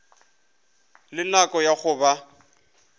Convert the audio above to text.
le nako ya go ba